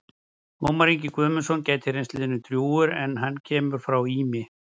Ómar Ingi Guðmundsson gæti reynst liðinu drjúgur en hann kemur frá Ými.